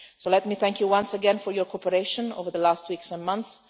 So let me thank you once again for your cooperation over the last weeks and